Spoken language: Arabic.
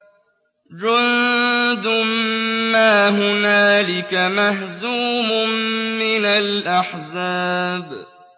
جُندٌ مَّا هُنَالِكَ مَهْزُومٌ مِّنَ الْأَحْزَابِ